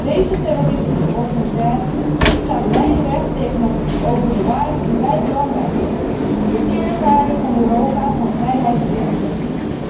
Deze terroristische organisatie staat lijnrecht tegenover de waarden die wij belangrijk vinden, de kernwaarden van Europa, van vrijheid en democratie.